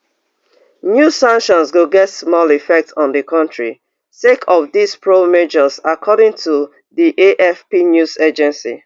new sanctions go get small effect on di kontri sake of dis prior measures according to di afp news agency